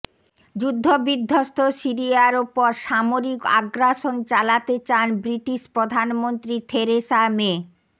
যুদ্ধবিধ্বস্ত সিরিয়ার ওপর সামরিক আগ্রাসন চালাতে চান ব্রিটিশ প্রধানমন্ত্রী থেরেসা মে